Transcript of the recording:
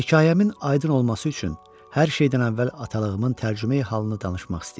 Hekayəmin aydın olması üçün hər şeydən əvvəl atalığımın tərcümeyi halını danışmaq istəyirəm.